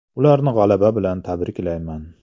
Ularni g‘alaba bilan tabriklayman.